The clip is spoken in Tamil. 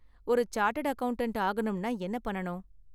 ஒரு சார்ட்டர்டு அக்கவுண்டன்ட் ஆகணும்னா என்ன பண்ணனும்?